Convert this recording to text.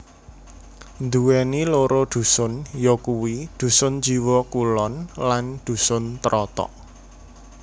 Nduwèni loro dusun yakuwi Dusun Jiwo Kulon lan Dusun Trotok